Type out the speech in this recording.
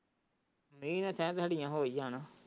ਮੀਂਹ ਹੋ ਹੀ ਜਾਣਾ।